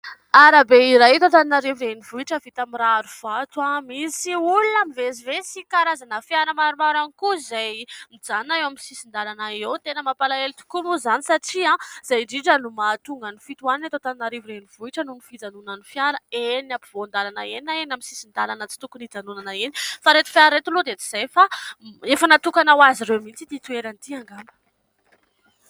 Arabe iray eto Antananarivo renivohitra vita my rarivato. Misy olona mivezivezy sy karazana fiara maromaro ihany koa izay nijanona eo amin'ny sisin-dalana eo. Tena mampalahelo tokoa moa izany satria izay indrindra no mahatonga ny fitohanana eto Antananarivo renivohitra noho ny fijanonan'ny fiara eny ampovoan-dalana eny na eny amin'ny sisin-dalana ; tsy tokony hijanonana eny. Fa ireto fiara ireto aloha dia tsy izay fa efa natokana ho azy ireo mihitsy ity toeran'ity angamba.